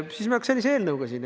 Siis me oleks sellise eelnõuga siin.